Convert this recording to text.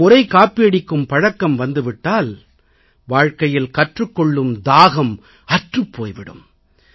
ஒருமுறை காப்பியடிக்கும் பழக்கம் ஏற்பட்டு விட்டால் வாழ்க்கையில் கற்றுக் கொள்ளும் தாகம் அற்றுப் போய் விடும்